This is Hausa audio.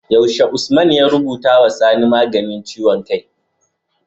Yaushe Usman ya rubutu wa sani maganin ciwon kai?